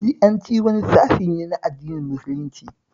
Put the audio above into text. Shi'anci wani sashe ne na addinin musulunci